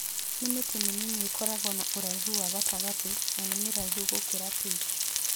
Nĩ mĩtĩ mĩnini ĩkoragwo na ũraihu wa gatagatĩ, na nĩ mĩraihu gũkĩra peach